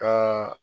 Ka